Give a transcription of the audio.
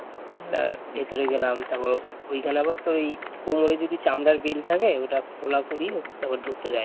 ভিতরে গেলাম তারপর ওখানে আবার তো ওই কোমরে যদি চামড়ার বেল্ট থাকে ওটা খোলা করিয়ে তারপর ঢুকতে দেয়